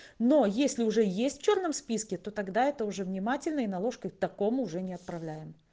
но если уже есть в чёрном списке то тогда это уже внимательный наложку такому уже не отправляем